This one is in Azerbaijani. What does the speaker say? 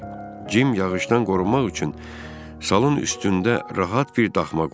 Cim yağışdan qorunmaq üçün salın üstündə rahat bir daxma qurdu.